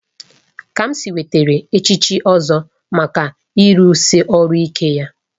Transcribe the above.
Kamsi nwetara echichi Ozo maka ịrụsi ọrụ ike ya